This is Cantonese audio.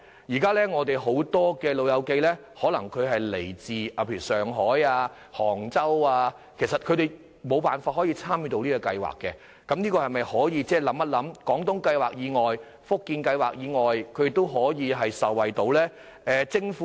現時有很多長者來自上海、杭州等地，他們均無法參與有關計劃，所以，政府可否考慮在"廣東計劃"和"福建計劃"以外，訂定可讓他們受惠的計劃呢？